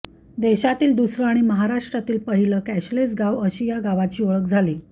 देशातील दुसरं आणि महाराष्ट्रातील पहिलं कॅशलेस गाव अशी या गावाची ओळख झाली